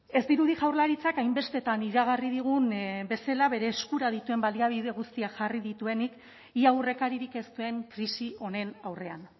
ez dirudi jaurlaritzak hainbestetan iragarri digun bezala bere eskura dituen baliabide guztiak jarri dituenik ia aurrekaririk ez duen krisi honen aurrean